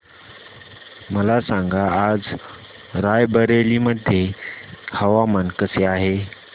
मला सांगा आज राय बरेली मध्ये हवामान कसे आहे